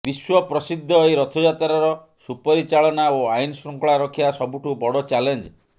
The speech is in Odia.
ବିଶ୍ୱପ୍ରସିଦ୍ଧ ଏହି ରଥଯାତ୍ରାର ସୁପରିଚାଳନା ଓ ଆଇନଶୃଙ୍ଖଳା ରକ୍ଷା ସବୁଠୁ ବଡ଼ ଚ୍ୟାଲେଂଜ